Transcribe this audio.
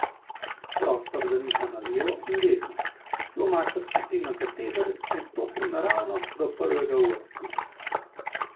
Prostor zaniha na levo in desno, flomaster spustim na kateder in stopim naravnost do prvega v vrsti.